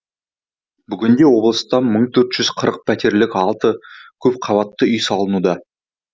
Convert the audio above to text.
бүгінде облыста мың төртжүз қырық пәтерлік алты көпқабатты үй салынуда